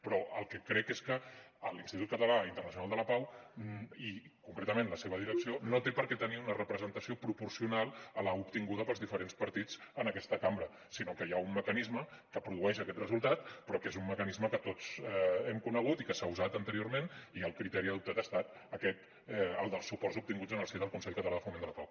però el que crec és que a l’institut català internacional de la pau i concretament la seva direcció no té per què tenir una representació proporcional a l’obtinguda pels diferents partits en aquesta cambra sinó que hi ha un mecanisme que produeix aquest resultat però que és un mecanisme que tots hem conegut i que s’ha usat anteriorment i el criteri adoptat ha estat el dels suports obtinguts en el si del consell català de foment de la pau